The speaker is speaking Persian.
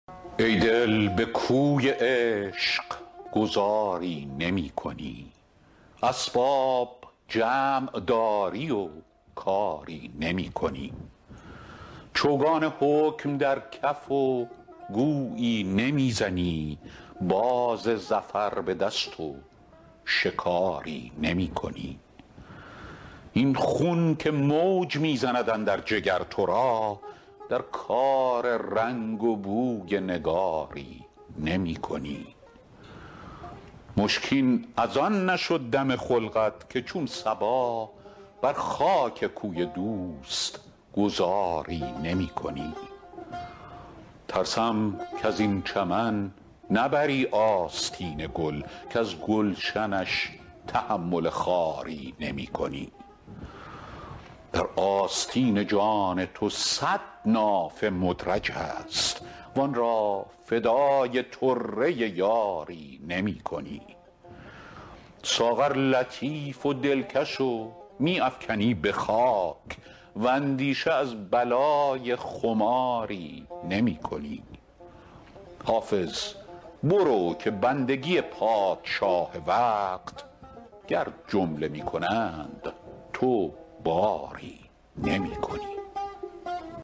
ای دل به کوی عشق گذاری نمی کنی اسباب جمع داری و کاری نمی کنی چوگان حکم در کف و گویی نمی زنی باز ظفر به دست و شکاری نمی کنی این خون که موج می زند اندر جگر تو را در کار رنگ و بوی نگاری نمی کنی مشکین از آن نشد دم خلقت که چون صبا بر خاک کوی دوست گذاری نمی کنی ترسم کز این چمن نبری آستین گل کز گلشنش تحمل خاری نمی کنی در آستین جان تو صد نافه مدرج است وآن را فدای طره یاری نمی کنی ساغر لطیف و دلکش و می افکنی به خاک واندیشه از بلای خماری نمی کنی حافظ برو که بندگی پادشاه وقت گر جمله می کنند تو باری نمی کنی